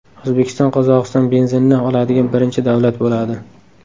O‘zbekiston Qozog‘iston benzinini oladigan birinchi davlat bo‘ladi.